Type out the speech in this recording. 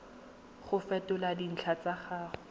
go fetola dintlha tsa gago